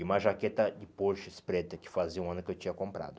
E uma jaqueta de porches preta, que fazia um ano que eu tinha comprado.